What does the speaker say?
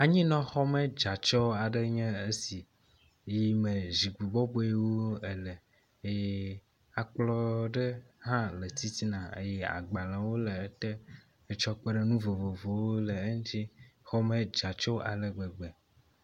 Anyinɔxɔme dze atsɔ aɖe nye es iyi me zikpui bɔbɔewo ele eye akplɔ ɖe hã le titina eye agbalewo le ete etsɔ kpe ɖe nu vovovowo le eŋuti. Xɔme dze atsɔ ale gbegbe.